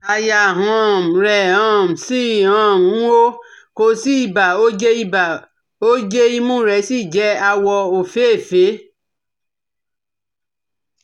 Àyà um rẹ̀ um ṣì um ń hó, kò sí ibà, oje ibà, oje imú rẹ̀ sì jẹ́ àwọ̀ òféèfé